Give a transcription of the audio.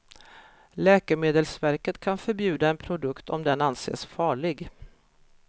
Läkemedelsverket kan förbjuda en produkt om den anses farlig.